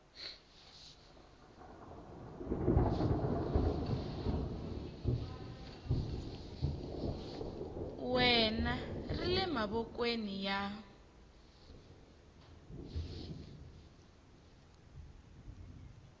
wena ri le mavokweni ya